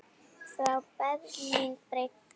Frá Berlín breiddi